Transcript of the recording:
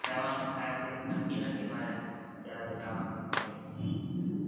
જવાનું થશે નકી નથી મારે ક્યારે જવાનું થાય